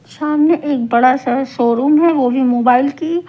सामने एक बड़ा सा शोरूम है वो भी मोबाइल की--